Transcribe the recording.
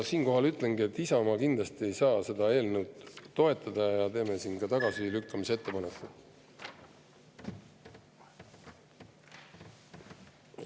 Siinkohal ütlengi, et Isamaa ei saa kindlasti seda eelnõu toetada ja me teeme tagasilükkamise ettepaneku.